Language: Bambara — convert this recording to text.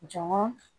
Jɔn ŋɔn